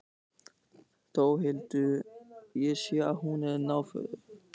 Þórhildur: Ég sé að hún er náföl?